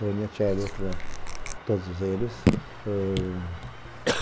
Tônia, Tchely, Autran, todos eles.